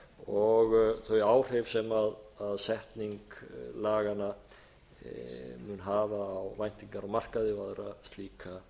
og þau áhrif sem setning laganna mun hafa á væntingar á markaði og aðra slíka